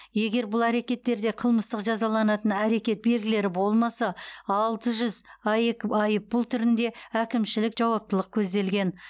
егер бұл әрекеттерде қылмыстық жазаланатын әрекет белгілері болмаса алты жүз аек айыппұл түрінде әкімшілік жауаптылық көзделген